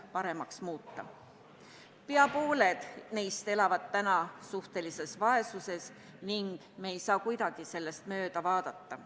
Peaaegu pooled neist elavad suhtelises vaesuses ning me ei saa kuidagi sellest mööda vaadata.